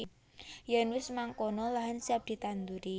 Yen wis mangkono lahan siap ditanduri